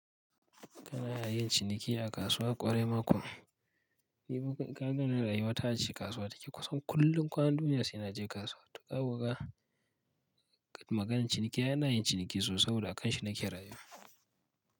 Kana yin ciniki a kasuwa ƙwarai makon. Ni kuma rayuwa ta ce kasuwa take kusan kullum kwanan duniya saina je kasuwa. Ta ƙaga oga maganan ciniki ai yin ciniki sobo da akanshi nake rayuwa.